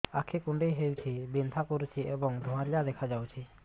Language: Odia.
ଆଖି କୁଂଡେଇ ହେଉଛି ବିଂଧା କରୁଛି ଏବଂ ଧୁଁଆଳିଆ ଦେଖାଯାଉଛି